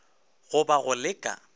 go ba go le ka